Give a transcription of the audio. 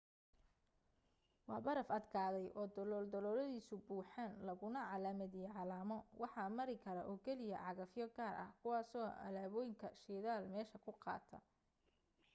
waa baraf adkaday oo dalooladiisu buuxaan laguna calaamadiyay calamo waxa mari kara oo keliya cagafyo gaar ah kuwaasoo alaabooyin shidaal meesha ku qaada